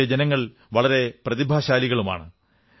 അവിടത്തെ ജനങ്ങൾ വളരെ പ്രതിഭാശാലികളുമാണ്